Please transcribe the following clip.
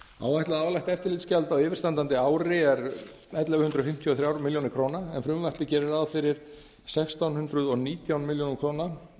áætlað álagt eftirlitsgjald á yfirstandandi er ellefu hundruð fimmtíu og þrjár milljónir króna en frumvarpið gerir ráð fyrir sextán hundruð og nítján milljónum